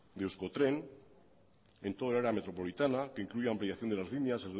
de euskotren en todo el área metropolitana que incluye ampliación de las líneas